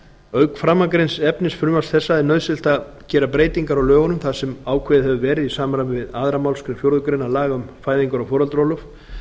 auk framangreinds efnis frumvarps þessa er nauðsynlegt að gera breytingar á lögunum þar sem ákveðið hefur verið í samræmi við aðra málsgrein fjórðu grein laga um fæðingar og foreldraorlof